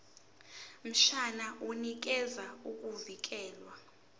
mshwana unikeza ukuvikelwa